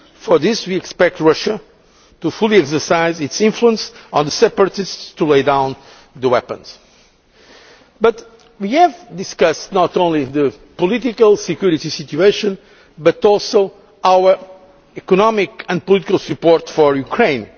For this, we expect Russia to fully exercise its influence on the separatists in order that they lay down their weapons. We have discussed not only the political and security situation, but also our economic and political support for Ukraine.